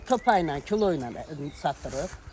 Salan, sağa topa ilə, kilo ilə satdırıq.